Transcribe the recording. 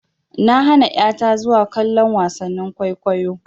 Na hana ƴa ta zuwa kallon wasannin kwaikwayo.